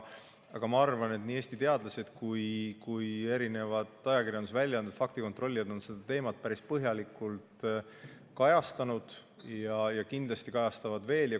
Aga ma arvan, et nii Eesti teadlased kui ka ajakirjandusväljaanded, faktikontrollijad, on seda teemat päris põhjalikult kajastanud ja kindlasti kajastavad veel.